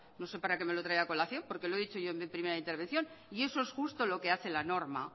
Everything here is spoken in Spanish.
no sé para que me lo trae a colación porque lo he dicho yo en mi primera intervención y eso es justo lo que hace la norma